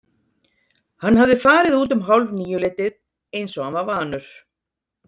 Hann hafði farið út um hálfníuleytið eins og hann var vanur.